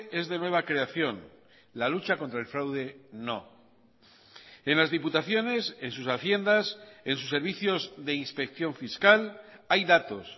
es de nueva creación la lucha contra el fraude no en las diputaciones en sus haciendas en sus servicios de inspección fiscal hay datos